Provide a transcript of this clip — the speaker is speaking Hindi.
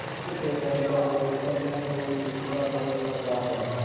पंच के पद पर बैठ कर न कोई किसी का दोस्त होता है